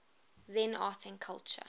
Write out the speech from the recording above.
zen art and culture